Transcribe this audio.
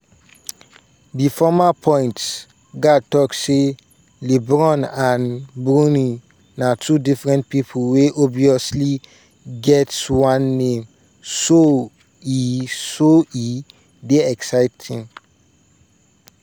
di former point-guard tok say "lebron and bronny na two different pipo wey obviously get one name so e so e dey exciting.